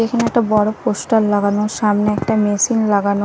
এখানে একটা বড় পোস্টার লাগানো সামনে একটা মেসিন লাগানো।